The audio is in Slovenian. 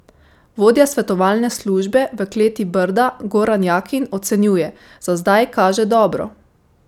Vodja svetovalne službe v kleti Brda, Goran Jakin, ocenjuje: "Za zdaj kaže dobro.